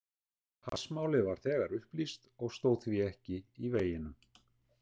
Hassmálið var þegar upplýst og stóð því ekki í veginum.